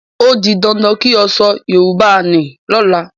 Ó di dandan kí o sọ Yorùbá ní lọ́la!